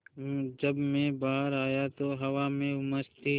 जब मैं बाहर आया तो हवा में उमस थी